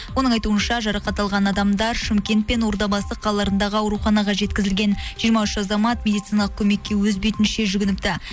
оның айтуынша жарақат алған адамдар шымкент пен ордабасы қалаларындағы ауруханаға жеткізілген жиырма үш азамат медициналық көмекке өз бетінше жүгініпті